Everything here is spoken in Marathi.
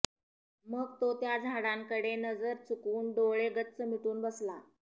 मग तो त्या झाडांकडे नजर चुकवून डोळे गच्च मिटून बसला